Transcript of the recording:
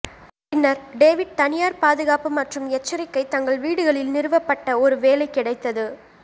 பின்னர் டேவிட் தனியார் பாதுகாப்பு மற்றும் எச்சரிக்கை தங்கள் வீடுகளில் நிறுவப்பட்ட ஒரு வேலை கிடைத்தது